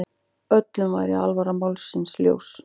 Öllum væri alvara málsins ljós.